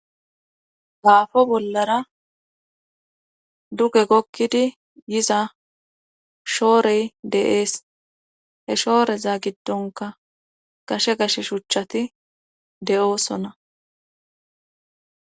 gaafo bollara duge gokkidi yiza shoorey de7ees he shooreza giddonka gashe gashe shuchchati de7oosona